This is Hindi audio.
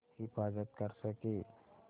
हिफ़ाज़त कर सकें